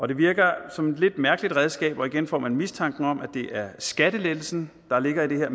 det virker som et lidt mærkeligt redskab og igen får man mistanken om at det mere er skattelettelsen der ligger i det her